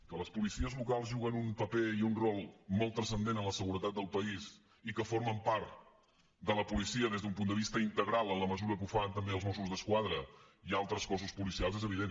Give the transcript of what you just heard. que les policies locals juguen un paper i un rol molt transcendent en la seguretat del país i que formen part de la policia des d’un punt de vista integral en la mesura que ho fan també els mossos d’esquadra i altres cossos policials és evident